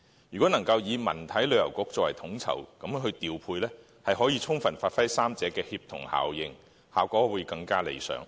如果能成立文體旅遊局作統籌調配，將可充分發揮三者的協同效應，效果會更為理想。